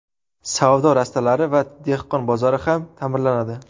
Savdo rastalari va dehqon bozori ham ta’mirlanadi.